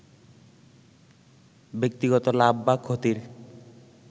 ব্যক্তিগত লাভ বা ক্ষতির